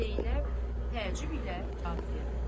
Zeynəb təəccüb ilə cavab verdi.